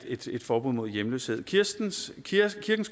et forbud mod hjemløshed kirkens